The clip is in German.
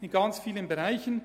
Das war eine Riesenarbeit.